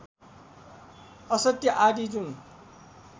असत्य आदि जुन